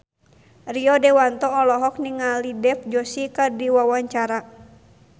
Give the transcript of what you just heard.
Rio Dewanto olohok ningali Dev Joshi keur diwawancara